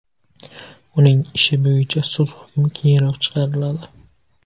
Uning ishi bo‘yicha sud hukmi keyinroq chiqariladi.